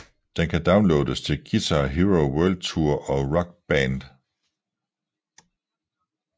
Den kan downloades til Guitar Hero World Tour og Rock Band